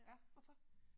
Ja hvorfor?